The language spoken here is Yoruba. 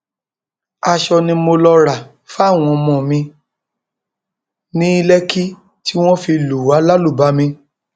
aṣọ ni mo lọọ rà fáwọn ọmọ mi ní lẹkì tí wọn fi lù wá lálùbami